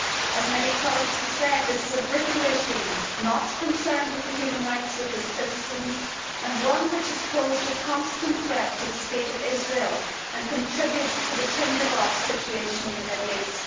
As many colleagues have said, this is a brittle regime not concerned with the human rights of its citizens, and one which has posed a constant threat to the State of Israel and contributes to the tinder box situation in the Middle East.